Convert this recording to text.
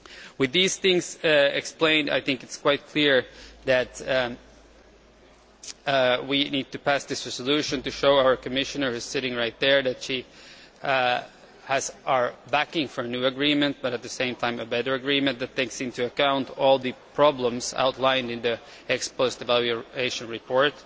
With these things explained, I think it is quite clear that we need to pass the resolution to show our Commissioner who is sitting right there that she has our backing for a new agreement, but at the same time a better agreement which takes into account all the problems outlined in the ex post evaluation report.